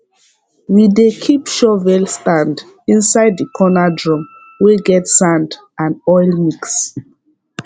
we dey keep shovel stand inside the corner drum wey get sand and oil mix